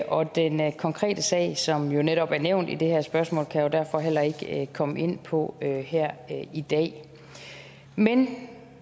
og den konkrete sag som netop er nævnt i det her spørgsmål kan jeg derfor heller ikke komme ind på her i dag men